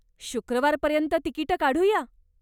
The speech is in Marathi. शुक्रवारपर्यंत तिकिटं काढूया?